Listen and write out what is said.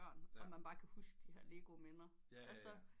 Og man bare kan huske de her Lego minder